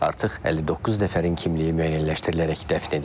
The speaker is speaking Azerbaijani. Artıq 59 nəfərin kimliyi müəyyənləşdirilərək dəfn edilib.